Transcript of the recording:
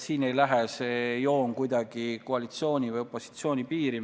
Siin ei lähe see joon kuidagi mööda koalitsiooni või opositsiooni piiri.